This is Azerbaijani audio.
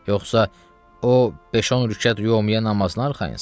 Yoxsa o beş-on rükət yömmiyə namazına arxayınsız?